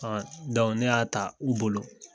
ne y'a ta u bolo.